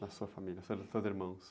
Na sua família, irmãos.